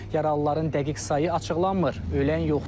Yaralıların dəqiq sayı açıqlanmır, ölən yoxdur.